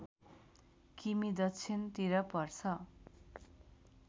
किमि दक्षिणतिर पर्छ